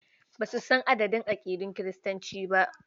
Ba su san adadin aƙidun Kiristanci ba.